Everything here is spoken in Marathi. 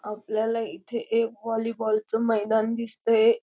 आपल्याला इथे एक होलीबॉल च मैदान दिसतय.